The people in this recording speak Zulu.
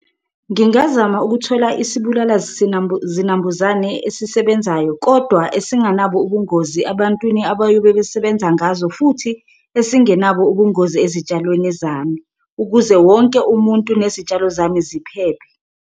Ngingazama ukuthola isibulala zinambuzane esisebenzayo kodwa esinganabo ubungozi abantwini abayobe besebenza ngazo futhi esingenabo ubungozi ezitshalweni zami, ukuze wonke umuntu nezitshalo zami ziphephe.